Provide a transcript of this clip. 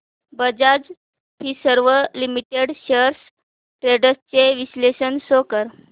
Bajaj Finserv limited shares trends चे विश्लेषण show कर